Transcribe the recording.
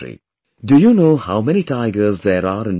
Do you know how many tigers there are in India